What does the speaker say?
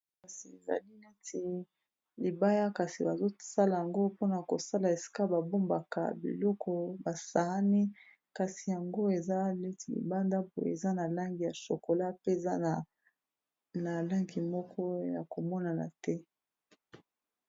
Kasi ezali neti libaya, kasi bazosala yango mpona kosala esika babombaka biloko ; basaani. Kasi yango, eza netì libanda mpoye. Eza na langi ya shokola mpe eza na langi moko ya komonana te.